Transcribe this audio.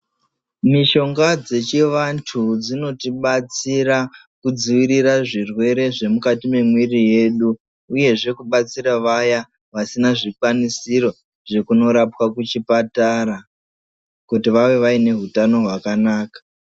Mushonga dsechivantu dzinotibatsira kudzivirira zvirwere zvemukati mwemwiri yedu uyezve kubatsira vaya vasina zvikwanisiro zvekunorapwa kuchipatara kuti vave vaine utano hwakanaka.